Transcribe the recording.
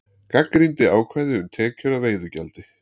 Gagnrýndi ákvæði um tekjur af veiðigjaldi